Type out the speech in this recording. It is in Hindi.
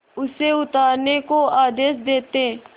उसे उतारने का आदेश देते